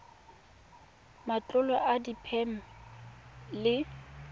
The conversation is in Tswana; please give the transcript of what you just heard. matlolo a diphen ene le